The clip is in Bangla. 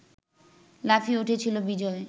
লাফিয়ে উঠেছিল বিজয়